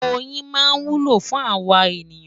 Oyin máa wúlò fún àwa ènìyàn.